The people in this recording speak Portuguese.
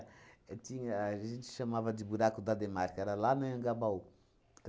Tinha a gente chamava de Buraco da Demarca, era lá no Anhangabaú.